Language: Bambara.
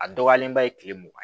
A dɔgɔyalenba ye kile mugan